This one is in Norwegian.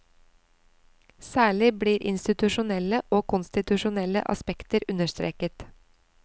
Særlig blir institusjonelle og konstitusjonelle aspekter understreket.